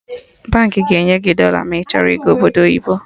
Baankị ga-enye gị dọla ma ị chọrọ ịga Obodo oyibo